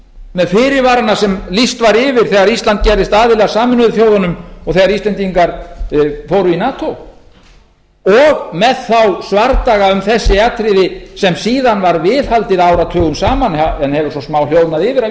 með fyrirvarana sem lýst var yfir þegar ísland gerðist aðili að sameinuðu þjóðunum og þegar íslendingar fóru í nato og með þá svardaga um þessi atriði sem síðan var viðhaldið áratugum saman en hefur svo smáhljóðnað yfir að